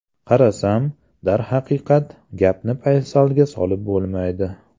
Qarasam, darhaqiqat gapni paysalga solib bo‘lmaydi.